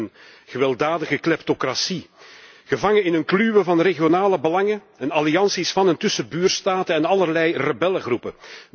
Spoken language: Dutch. Het werd een gewelddadige kleptocratie, gevangen in een kluwen van regionale belangen en allianties van en tussen buurstaten en allerlei rebellengroepen.